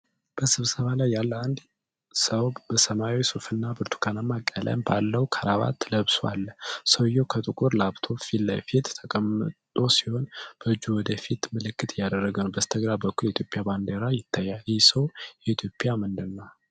በስብሰባ ላይ ያለ አንድ ሰው በሰማያዊ ሱፍና ብርቱካናማ ቀለም ባለው ክራባት ለብሶ አለ። ሰውዬው ከጥቁር ላፕቶፕ ፊት ለፊት ተቀምጦ ሲሆን፣ በእጁ ወደ ፊት ምልክት እያደረገ ነው። በስተግራ በኩል የኢትዮጵያ ባንዲራ ይታያል። ይህ ሰው የኢትዮጵያ ምንድነው?